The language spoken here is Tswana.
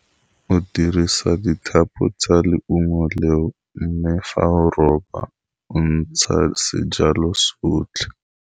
Go dirisa dithapo tsa leungo leo, mme fa o ropa o ntsha sejalo sotlhe.